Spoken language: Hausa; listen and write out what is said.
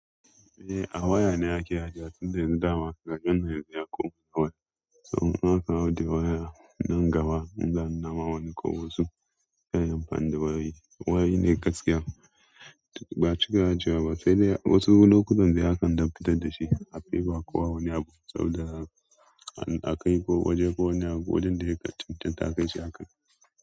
Eh a waya ne ake ajiye tunda dama daga Janairu ya koma waya. Saboda haka waya nan gaba in zan nama wani ko wasu ta ƴan fan da wayoyi. Wayoyi ne gaskiya ba cika ajiyewaba sai dai wasu lokutan dai akan dakatar dashi ba'a fiya bawa kowa wani abu saboda akai ko waje ko wani abu wajen da yaƙa cintinta aka yi shi akan.